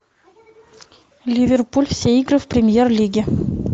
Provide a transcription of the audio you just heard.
ливерпуль все игры в премьер лиге